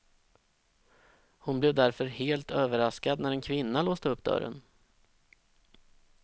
Hon blev därför helt överraskad när en kvinna låste upp dörren.